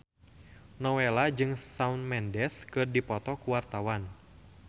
Nowela jeung Shawn Mendes keur dipoto ku wartawan